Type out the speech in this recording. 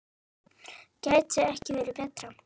Gæti ekki verið betra.